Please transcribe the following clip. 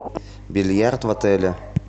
бильярд в отеле